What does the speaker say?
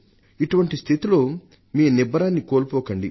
ఇటువంటి స్థితిలో మీ నిబ్బరాన్ని కోల్పోకండి